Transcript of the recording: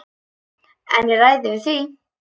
En ég ræð yfir því.